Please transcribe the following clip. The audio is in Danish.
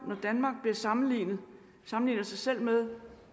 når danmark sammenligner sammenligner sig selv med